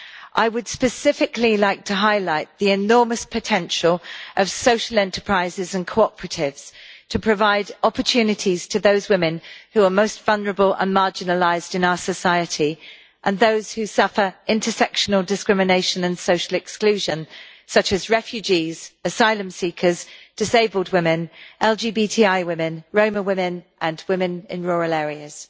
I would specifically like to highlight the enormous potential of social enterprises and cooperatives to provide opportunities to those women who are most vulnerable and marginalised in our society, and those who suffer intersectional discrimination and social exclusion, such as refugees, asylum seekers, disabled women, LGBTI women, Roma women and women in rural areas.